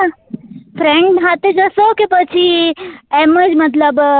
friends સાથે જસો કે પછી એમ જ મતલબ